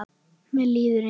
Mér líður eins.